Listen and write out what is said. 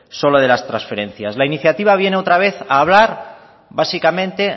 solo de las transferencias la iniciativa viene otra vez a hablar básicamente